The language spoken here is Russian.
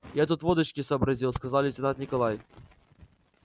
я тут водочки сообразил сказал лейтенант николай